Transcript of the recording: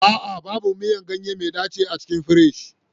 A'a, babu miyan ganye mai daci a cikin firji.